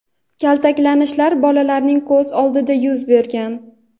kaltaklanishlar bolalarning ko‘z oldida yuz bergan.